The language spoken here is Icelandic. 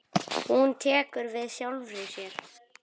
Hún tekur við sjálfri sér.